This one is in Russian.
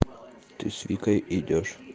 ты с викой идёшь